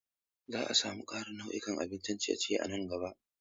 Za a samar da ƙarin nau'ikan abincin ciye-ciye a nan gaba.